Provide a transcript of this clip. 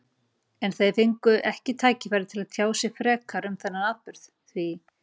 En þeir fengu ekki tækifæri til að tjá sig frekar um þennan atburð, því